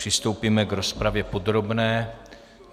Přistoupíme k rozpravě podrobné.